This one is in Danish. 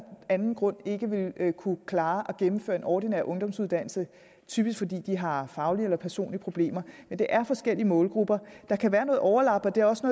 anden grund ikke vil kunne klare at gennemføre en ordinær ungdomsuddannelse typisk fordi de har faglige eller personlige problemer men det er forskellige målgrupper der kan være noget overlap og det er også